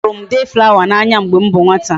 A huru m day flower na anya mgbe m bu nwata